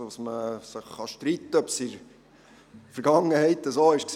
Man kann sich allerdings darüber streiten, ob dies in der Vergangenheit tatsächlich so war.